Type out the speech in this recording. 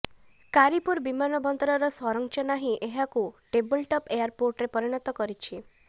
କାରୀପୁର ବିମାନ ବନ୍ଦରର ସଂରଚନା ହିଁ ଏହାକୁ ଟେବୁଲଟପ୍ ଏୟାରପୋର୍ଟରେ ପରିଣତ କରିଛି